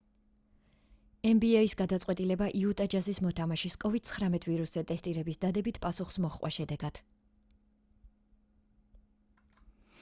nba-ის გადაწყვეტილება იუტა ჯაზის მოთამაშის covid-19 ვირუსზე ტესტირების დადებით პასუხს მოჰყვა შედეგად